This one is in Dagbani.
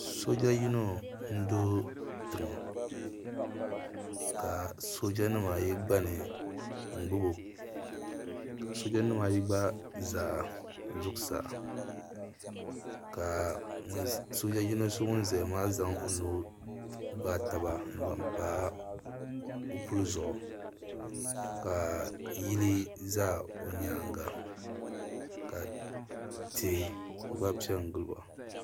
soja yino nʒɛ tɛga ka soja nimaayi gbani n gbabibo ka soja nimaayi gba za zuɣisaa ka soja so ŋɔ zaya maa gbagi o nu zaŋpa o puli zuɣigu ka yili za o nyɛŋa tihi gba bɛ gili ba